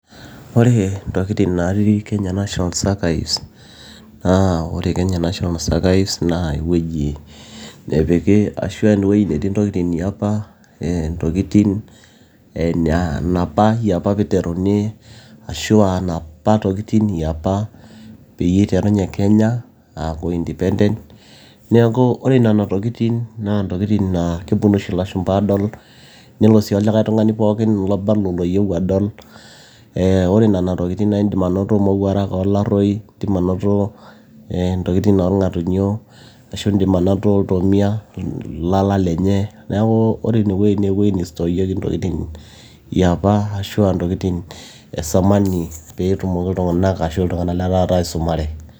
Ore intokitin naati Kenya national archives naa ore Kenyanational archives naa ewueji nepiki ashua ewueji natii intokitin yiapa eeh ntokitin eee napa yiapa peiteruni ashua napa tokitin yapa peyie eiterunye kenya aaku endepent neeku ore nena tokitin naa ntokitin naa kepuonu oshi ilashumba aadol leno sii olikae tung'ani pooki lobanaa oloyieu adol eeh ore nena tokitin naaindim ake anoto mowuarak olaroi nindiim anoto ee intokitin oorng'atunyio ashu indiim anoto iltomia ilala lenye neeku ore ine wueji naa ewueji neisudorieki intokitin yiapa ashua intokitin e zamani peetumoki iltung'anak ashuu iltung'anak letaata aisumare.